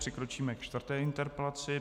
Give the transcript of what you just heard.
Přikročíme ke čtvrté interpelaci.